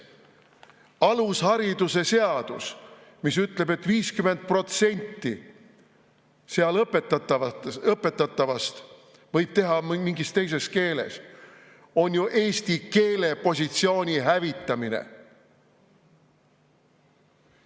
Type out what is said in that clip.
Alushariduse seadus, mis ütleb, et 50% õpetatavast võib olla mingis teises keeles, on ju eesti keele positsiooni hävitamine.